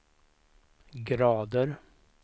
grader